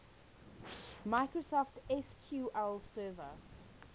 microsoft sql server